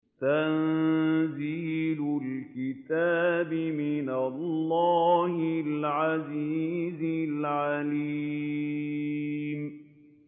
تَنزِيلُ الْكِتَابِ مِنَ اللَّهِ الْعَزِيزِ الْعَلِيمِ